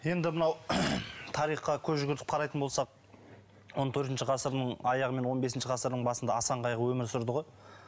енді мынау тарихқа көз жүгіртіп қарайтын болсақ он төртінші ғасырдың аяғы мен он бесінші ғасырдың басында асан қайғы өмір сүрді ғой